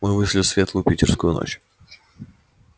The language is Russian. мы вышли в светлую питерскую ночь